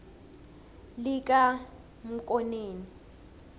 likanamkoneni